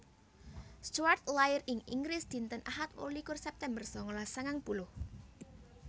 Stuart lair ing Inggris dinten Ahad wolu likur September sangalas sangang puluh